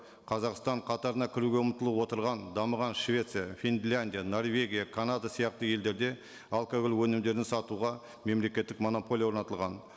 қазақстан қатарына кіруге ұмтылып отырған дамыған швеция финляндия норвегия канада сияқты елдерде алкоголь өнімдерін сатуға мемлекеттік монополия орнатылған